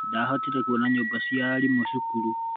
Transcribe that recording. Ndahotire kuona nyũmba cia arimũ cukuru.